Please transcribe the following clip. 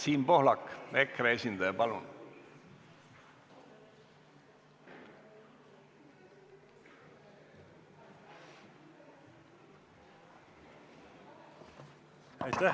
Siim Pohlak, EKRE esindaja, palun!